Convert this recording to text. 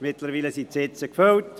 Mittlerweile sind die Sitze gefüllt.